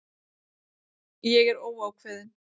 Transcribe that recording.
Ég er óákveðin.